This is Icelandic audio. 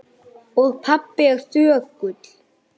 Og pabbi er þögull.